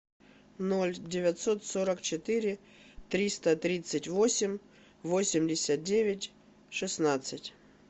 ноль девятьсот сорок четыре триста тридцать восемь восемьдесят девять шестнадцать